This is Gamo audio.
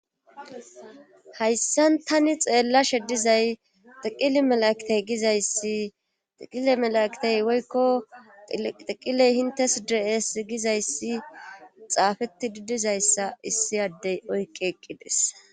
hayssan tani xeellashe dizay tiqili melaktey gizayssi tiqile melaektey woykko tiqiley hintes dees gizayssi xaafetti didizayssa issi addey oyqi eqqides